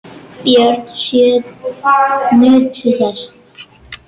Börnin sjö nutu þess.